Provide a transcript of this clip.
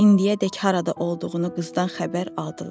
İndiyədək harada olduğunu qızdan xəbər aldılar.